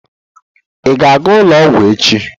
Ị ga-aga ụlọ ọgwụ echi?